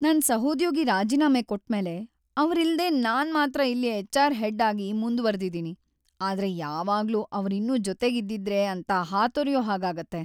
ನನ್ ಸಹೋದ್ಯೋಗಿ ರಾಜೀನಾಮೆ ಕೊಟ್ಮೇಲೆ ಅವ್ರಿಲ್ದೇ ನಾನ್‌ ಮಾತ್ರ ಇಲ್ಲಿ ಎಚ್‌.ಆರ್.‌ ಹೆಡ್‌ಆಗಿ ಮುಂದ್ವರ್ದಿದೀನಿ, ಆದ್ರೆ ಯಾವಾಗ್ಲೂ ಅವ್ರಿನ್ನೂ ಜೊತೆಗಿದ್ದಿದ್ರೇ ಅಂತ ಹಾತೊರ್ಯೋ ಹಾಗಾಗತ್ತೆ.